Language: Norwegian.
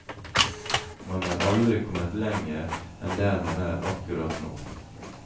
Man er aldri kommet lenger enn der man er akkurat nå.